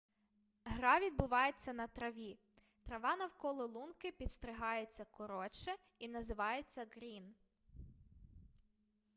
гра відбувається на траві трава навколо лунки підстригається коротше і називається ґрін